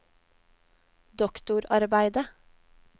doktorarbeidet